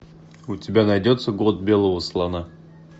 у тебя найдется год белого слона